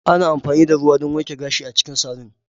Ana amfani da ruwa don wanke gashi a cikin salon.